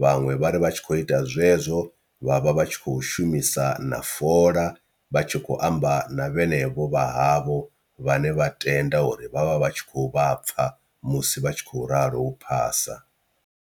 vhaṅwe vha ri vha tshi khou ita zwezwo vha vha vha tshi kho shumisa na fola vha tshi khou amba na vhenevho vha havho vhane vha tenda uri vhavha vhatshi khou vha pfha musi vhatshi khou ralo u phasa.